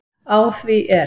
Á því er